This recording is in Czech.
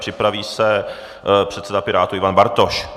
Připraví se předseda Pirátů Ivan Bartoš.